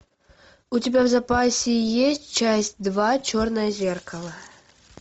у тебя в запасе есть часть два черное зеркало